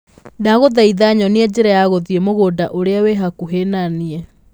Ndagũthaitha nyonia njĩra ya gũthiĩ mũgũnda ũrĩa wĩ hakuhĩ na niĩ